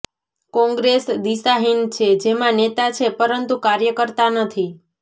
કોંગ્રેસ દિશાહીન છે જેમાં નેતા છે પરંતુ કાર્યકર્તા નથી